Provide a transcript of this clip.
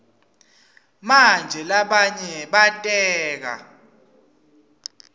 manje labanye bateka